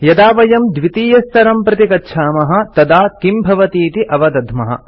यदा वयं द्वितीयस्तरं प्रति गच्छामः तदा किं भवतीति अवदध्मः